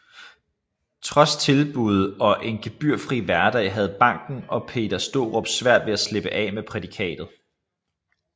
Trods tilbud og en gebyrfri hverdag havde banken og Peter Straarup svært ved at slippe af med prædikatet